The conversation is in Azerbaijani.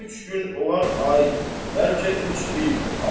Üç gün olar ay, bəlkə üç il.